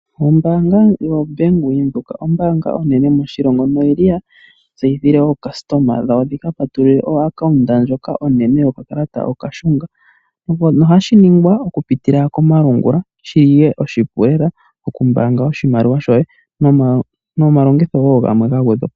Ombaanga yoBank Windhoek, ombaanga onene moshilongo, noyili ya tseyithile ookastoma dhawo dhika patulule ooaccount ndjoka onene yokakalata okashunga shono hashi ningwa oku pitila komalungula oshili oshipu lela okumbaanga oshimaliwa shoye nomalongitho woo gamwe ga gwedhwapo.